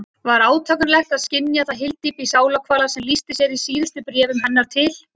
Var átakanlegt að skynja það hyldýpi sálarkvalar sem lýsti sér í síðustu bréfum hennar til